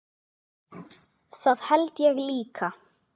Það held ég líka